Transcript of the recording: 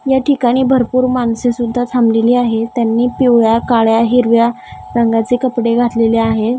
या ठिकाणी भरपूर माणसे सुद्धा थांबलेली आहेत त्यांनी पिवळ्या काळ्या हिरव्या रंगाचे कपडे घातलेले आहेत.